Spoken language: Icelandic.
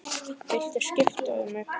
Viltu skipta við mig?